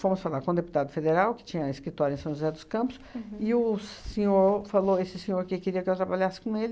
Fomos falar com o deputado federal, que tinha escritório em São José dos Campos, e o senhor falou, esse senhor que queria que eu trabalhasse com ele.